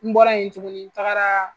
N bɔra yen tuguni n tagara.